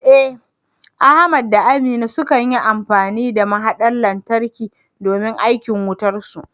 Eh, Ahmad da Aminu sukan yi amfani da mahaɗar lantarki domin aikin wutarsu.